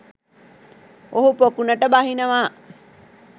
ඔහු පොකුණට බහිනවා.